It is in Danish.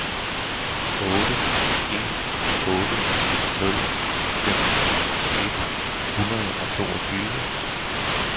otte en otte nul femten et hundrede og toogtyve